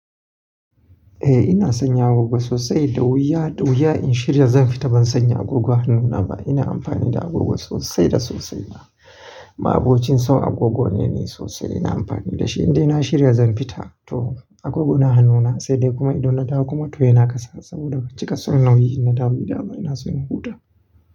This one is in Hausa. Eh ina sanya agogo sosai da wuya, da wuya in shirya zan fita ban sanya agogo hanuna ba. Ina amfani da agogo sosai da sosai ma. Ma'abocin san agogo ne sosai. Ina amfani da shi indai na shirya zan fita to agogo na hanuna sai dai kuma idan na dawo kuma to yana ƙasa saboda cika son nauyi inna dawo gida ba kuma ina so in huta.